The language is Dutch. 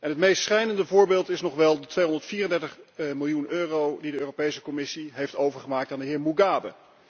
Het meest schrijnende voorbeeld is wel de 234 miljoen euro die de Europese Commissie heeft overgemaakt aan de heer Mugabe.